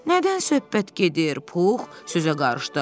Nədən söhbət gedir, Pux sözə qarışdı.